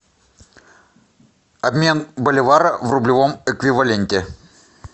обмен боливара в рублевом эквиваленте